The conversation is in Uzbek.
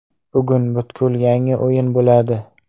Bugun butkul yangi o‘yin bo‘ladi.